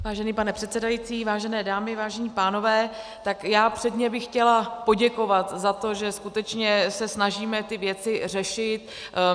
Vážený pane předsedající, vážené dámy, vážení pánové, tak já předně bych chtěla poděkovat za to, že skutečně se snažíme ty věci řešit.